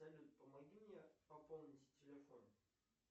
салют помоги мне пополнить телефон